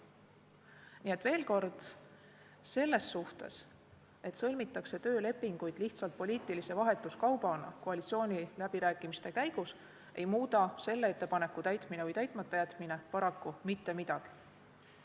Nii et veel kord: selles suhtes, et töölepinguid sõlmitakse lihtsalt poliitilise vahetuskaubana koalitsiooniläbirääkimiste käigus, ei muuda selle ettepaneku täitmine või täitmata jätmine paraku mitte midagi.